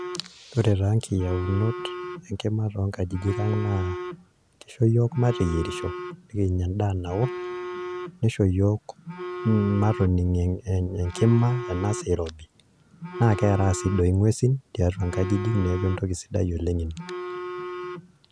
Ore nkiyaunot enkima tonkajijik ang' naa, kisho yiok mateyierisho, nikinya endaa nao, nisho yiok matoning' enkima enasaa irobi, na keraa si doi ng'uesin tiatua nkajijik, neeku entoki sidai oleng' ina.